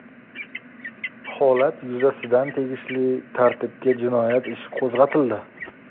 Holat yuzasidan tegishli tartibda jinoyat ishi qo‘zg‘atildi.